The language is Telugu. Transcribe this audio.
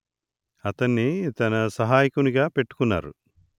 అతన్ని తన సహాయకునిగా పెట్టుకున్నారు